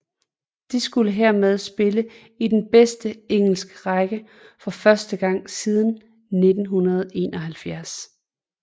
De skulle hermed spille i den bedste engelske række for første gang siden 1971